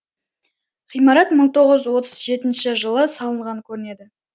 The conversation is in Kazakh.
ғимарат мың тоғыз жүз отыз жетінші жылы салынған көрінеді